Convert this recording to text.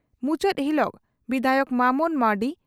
ᱢᱩᱪᱟᱹᱫ ᱦᱤᱞᱚᱜ ᱵᱤᱫᱷᱟᱭᱚᱠ ᱢᱟᱢᱚᱱ ᱢᱟᱨᱰᱤ